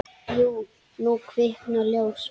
Jú, nú kviknar ljós.